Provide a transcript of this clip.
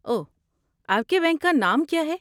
اوہ، آپ کے بینک کا نام کیا ہے؟